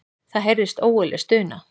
Það heyrðist ógurleg stuna.